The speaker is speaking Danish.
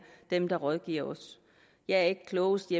dem der rådgiver os jeg er ikke klogest